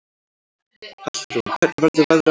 Hallrún, hvernig verður veðrið á morgun?